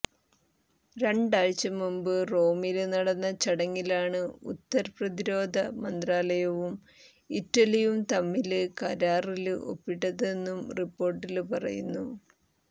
രണ്ടാഴ്ച മുമ്പ് റോമില് നടന്ന ചടങ്ങിലാണ് ഖത്തര് പ്രതിരോധ മന്ത്രാലയവും ഇറ്റലിയും തമ്മില് കരാറില് ഒപ്പിട്ടതെന്നും റിപ്പോര്ട്ടില് പറയുന്നു